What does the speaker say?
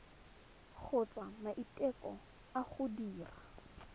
kgotsa maiteko a go dira